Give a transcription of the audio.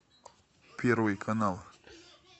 первый канал